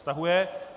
Stahuje.